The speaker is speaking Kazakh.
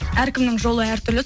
әркімнің жолы әртүрлі